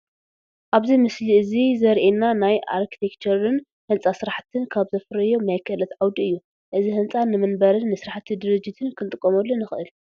ኣብዚ ምስሊ እዚ ዘሪኤና ናይ ኣርክቴክቸርን ህንፃ ስራሕቲን ካብ ዘፍረዮም ናይ ክእለት ዓውዲ እዩ፡፡ እዚ ህንፃ ንመንበርን ንስራሕቲ ድርጅትን ክንጥቀመሉ ንኽእል፡፡